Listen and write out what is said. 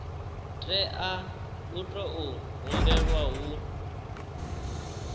tea u tou humbelwa hu